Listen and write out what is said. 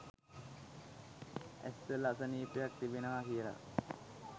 ඇස්වල අසනීපයක් තිබෙනවා කියලා